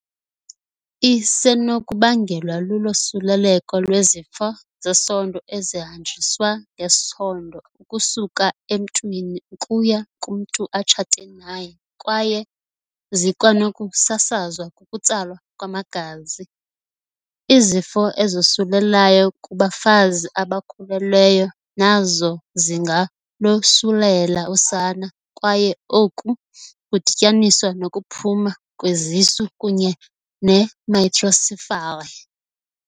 Isenokubangelwa lulosuleleko lwezifo zesondo ezihanjiswa ngesondo ukusuka emntwini ukuya kumntu atshate naye kwaye zikwanokusasazwa kukutsalwa kwamagazi. Izifo ezosulelayo kubafazi abakhululweyo nazo zingalosulela usana kwaye oku kudityaniswa nokuphuma kwezisu kunye ne-microcephaly.